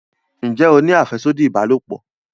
njé o ní afẹsodi ìbálòpọ̀?